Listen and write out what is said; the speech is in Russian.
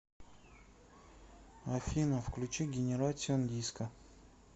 афина включи генератион диско